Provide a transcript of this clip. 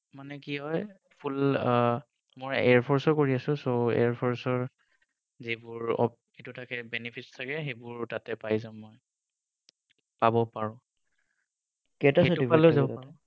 মানে কি হয় Full আহ মোৰ Airforce ও কৰি আছোঁ so airforce ৰ যিবোৰ এৰ benefits থাকে তাতে পাই যাম মই পাব পাৰো